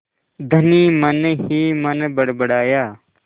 धनी मनहीमन बड़बड़ाया